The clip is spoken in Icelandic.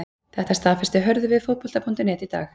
Þetta staðfesti Hörður við Fótbolta.net í dag.